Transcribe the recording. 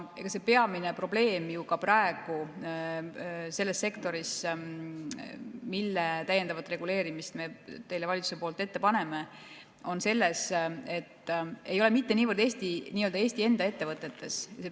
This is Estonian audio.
See peamine probleem ju ka praegu selles sektoris, mille täiendavat reguleerimist me teile valitsuse poolt ette paneme, ei ole mitte niivõrd nii-öelda Eesti enda ettevõtetes.